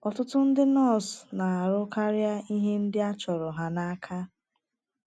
Ọtụtụ ndị nọọsụ na - arụ karịa ihe ndị a chọrọ ha n’aka.